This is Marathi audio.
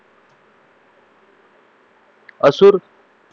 असुर